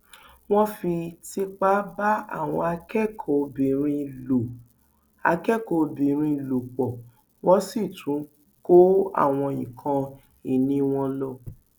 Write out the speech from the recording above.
wọn fi tipa bá àwọn akẹkọọbìnrin lò akẹkọọbìnrin lò pọ wọn sì tún kó àwọn nǹkan ìní wọn lọ